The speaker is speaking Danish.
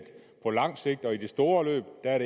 på langt sigt